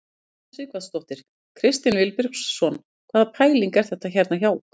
Una Sighvatsdóttir: Kristinn Vilbergsson hvaða pæling er þetta hérna hjá ykkur?